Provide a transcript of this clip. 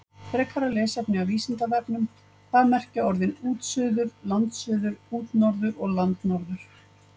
Frekara lesefni af Vísindavefnum: Hvað merkja orðin útsuður, landsuður, útnorður og landnorður?